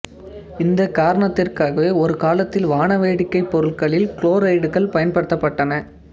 இந்த காரணத்திற்காகவே ஒரு காலத்தில் வானவேடிக்கை பொருட்களில் குளோரேட்டுகள் பயன்படுத்தப்பட்டன